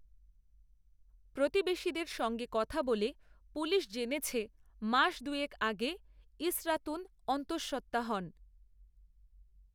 প্রতিবেশীদের সঙ্গে কথা বলে পুলিশ জেনেছে মাস দুয়েক আগে ইসরাতুন অন্তসঃত্ত্বা হন